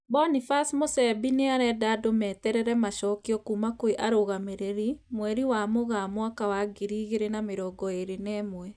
Boniface Musembi nĩarenda andũ meterere macokio kuma kwĩ arũgamĩrĩri, mweri wa Mũgaa mwaka wa ngiri igĩrĩ na mĩrongo ĩrĩ na ĩmwe